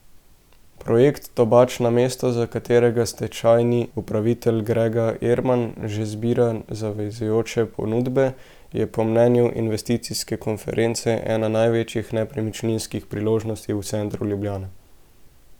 Projekt Tobačna mesto, za katerega stečajni upravitelj Grega Erman že zbira zavezujoče ponudbe, je po mnenju investicijske konference, ena največjih nepremičninskih priložnosti v centru Ljubljane.